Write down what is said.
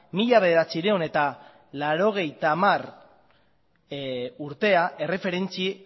mila bederatziehun eta laurogeita hamar urtea erreferentzia